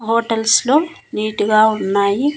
Bottles లో neat గా ఉన్నాయి.